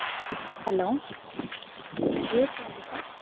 Hello, hello Jio service ah?